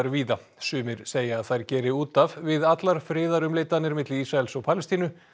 víða sumir segja að þær geri út af við allar friðarumleitanir milli Ísraels og Palestínu